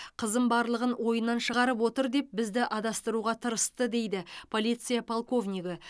қызым барлығын ойынан шығарып отыр деп бізді адастыруға тырысты дейді полиция полковнигі